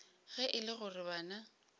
ge e le gore bana